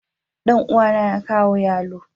Danuwa na ya kawo yallob.